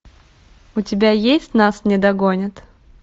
у тебя есть нас не догонят